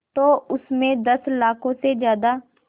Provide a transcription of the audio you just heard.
तो उस में दस लाख से ज़्यादा